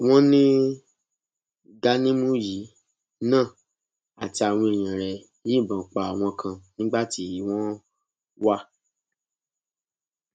wọn ní ganimù yìí náà àti àwọn èèyàn rẹ yìnbọn pa àwọn kan nígbà tí wọn wà